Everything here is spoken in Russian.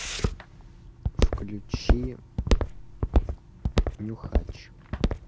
включи нюхач